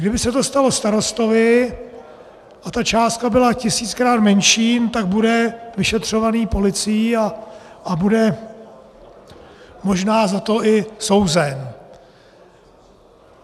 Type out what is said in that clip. Kdyby se to stalo starostovi a ta částka byla tisíckrát menší, tak bude vyšetřovaný policií a bude možná za to i souzen.